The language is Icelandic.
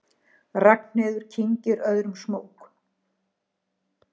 Ragnheiður kyngir öðrum smók.